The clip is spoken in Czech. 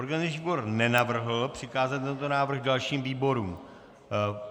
Organizační výbor nenavrhl přikázat tento návrh dalším výborům.